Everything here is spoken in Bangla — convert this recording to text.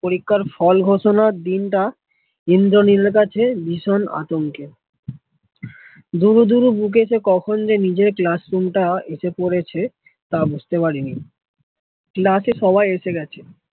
পরীক্ষার ফল ঘোষণার দিনটা ইন্দ্রনীল কাছে ভীষণ আতংকে দুরু দুরু বুকে সে কখন যে নিজের classroom টা এসে পড়েছে, তা বুঝতে পারিনি, class এ সবাই এসে গেছে